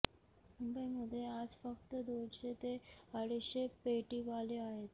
मुंबईमध्ये आज फक्त दोनशे ते अडीचशे पेटीवाले आहेत